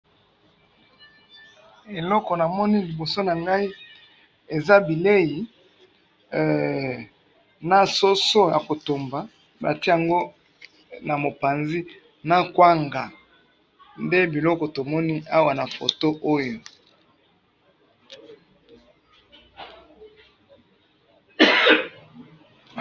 Eloko namoni liboso na ngai eza bilei na soso ya kotumba batia'ngo na mopanzi na kwanga nde biloko tomoni awa na photo oyo